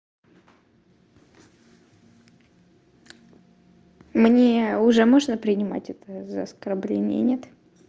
мне уже можно принимать это за оскорбление нет